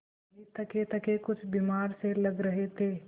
दादाजी थकेथके कुछ बीमार से लग रहे थे